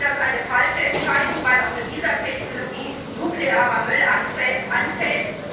Ich halte das für eine falsche Entscheidung, weil auch mit dieser Technologie nuklearer Müll anfällt.